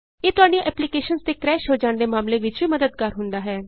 ਇਹ ਤੁਹਾਡੀਆਂ ਐਪਲੀਕੇਸ਼ਨਸ ਦੇ ਕਰੈਸ਼ ਹੋ ਜਾਣ ਦੇ ਮਾਮਲੇ ਵਿਚ ਵੀ ਮੱਦਦਗਾਰ ਹੁੰਦਾ ਹੈ